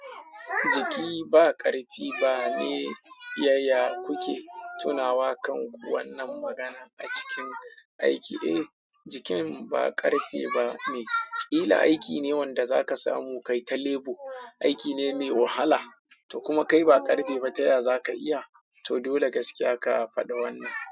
Jiki ba ƙarfi ba ne, yaya kuke tunawa kan wannan magana a cikin aiki? Eh, jikin ba ƙarfi ba ne. Kila aiki ne wanda zaka samu kai ta lebu, aiki ne mai wahala, to kuma kai ba ƙarfe ba, ta ya zaka iya. To dole gaskiya ka faɗi wannan.